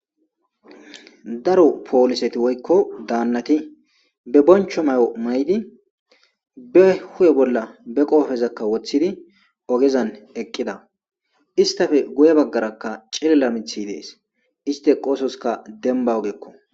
Daro pooliseti woykko daannati be boncho mayo mayidi be hu7e bolla be qoofezakka woththidi ogezan eqqida istafe guye baggaraka cilila mithi dees iste qoososka demba ogeekko.